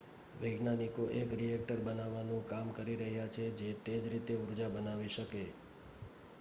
વૈજ્ઞાનિકો એક રિએક્ટર બનાવવાનું કામ કરી રહ્યા છે જે તે જ રીતે ઊર્જા બનાવી શકે